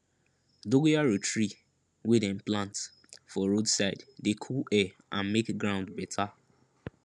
dogoyaro tree wey dem plant for road side dey cool air and make ground better